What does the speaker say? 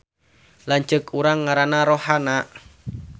Lanceuk urang ngaranna Rohana